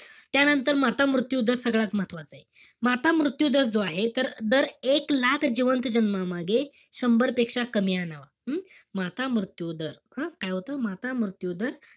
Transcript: त्यांनतर, माता मृत्यू दर सगळ्यात महत्वाचाय. माता मृत्यू दर जो आहे, तर दर एक लाख जिवंत जन्मामागे शंभरपेक्षा कमी आणावं. हम्म? माता मृत्यू दर. हं? काय होतं? माता मृत्यू दर,